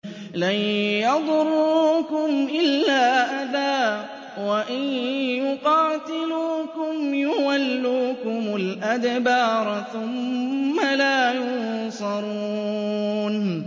لَن يَضُرُّوكُمْ إِلَّا أَذًى ۖ وَإِن يُقَاتِلُوكُمْ يُوَلُّوكُمُ الْأَدْبَارَ ثُمَّ لَا يُنصَرُونَ